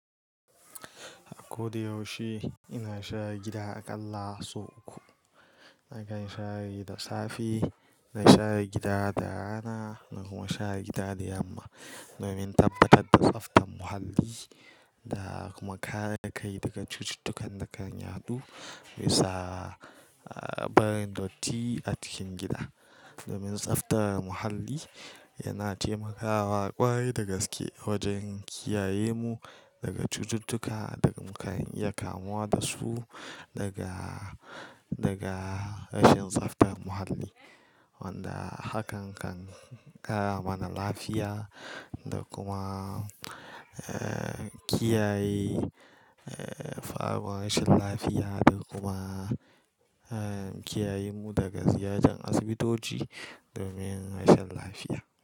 A kodayaushe ina share gida a ƙalla sau uku. Nakan share gida safe, na share gida da rana na kuma share gida da yamma. Domin tabbatar da tsaftar muhalli da kuma kare kai daga cututtukan da kan yaɗu, bisa, a, barin datti a cikin gida. Domin tsaftar muhalli yana taimakawa ƙwarai da gaske wajen kiyayemu daga cututtuka da muka iya kamuwa da su daga, daga rashin tsaftar muhalli. Wanda hakan kan ƙara mana lafiya da kuma, eh, kiyaye, eh, faruwan rashin lafiya da kuma, eh, kiyayemu daga ziyartar asibitoci domin rashin lafiya.